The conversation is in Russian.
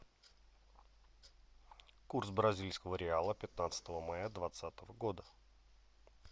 курс бразильского реала пятнадцатого мая двадцатого года